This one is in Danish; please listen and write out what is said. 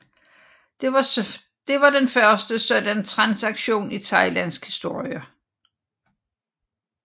Det var den første sådan transaktion i thailandsk historie